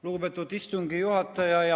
Lugupeetud istungi juhataja!